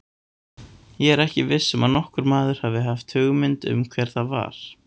Ég er ekki viss um að nokkur maður hafi hugmynd um hvert það var.